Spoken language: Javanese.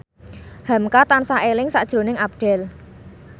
hamka tansah eling sakjroning Abdel